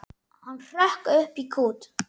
Hann hrökk í kút.